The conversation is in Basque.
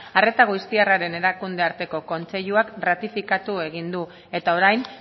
arreta aoiztiarraren erakunde arteko kontseiluak ratifikatu egin du eta orain